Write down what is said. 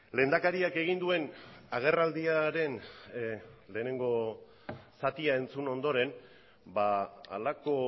lehendakariak egin duen agerraldiaren lehenengo zatia entzun ondoren halako